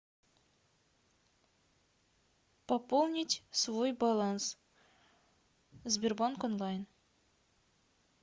пополнить свой баланс сбербанк онлайн